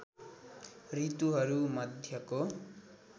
ऋतुहरू मध्यको